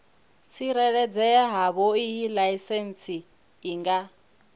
tsireledzea havhoiyi laisentsi i nga